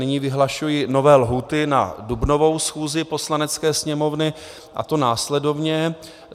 Nyní vyhlašuji nové lhůty na dubnovou schůzi Poslanecké sněmovny, a to následovně.